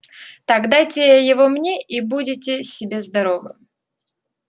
так дайте его мне и будьте себе здоровы